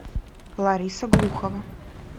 лариса глухова